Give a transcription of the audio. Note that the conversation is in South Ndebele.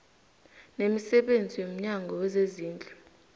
nemisebenzi yomnyango wezezindlu